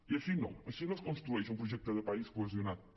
i així no així no es construeix un projecte de país cohesionat no